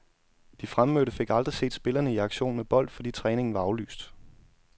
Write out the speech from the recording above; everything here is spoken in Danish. De fremmødte fik aldrig set spillerne i aktion med bold, fordi træningen var aflyst.